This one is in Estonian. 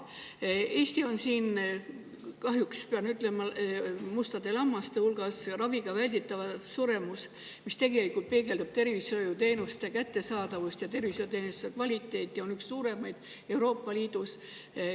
Eesti on siin, kahjuks pean ütlema, mustade lammaste hulgas: raviga välditav suremus, mis peegeldab tegelikult tervishoiuteenuste kättesaadavust ja kvaliteeti, on üks suuremaid Euroopa Liidus.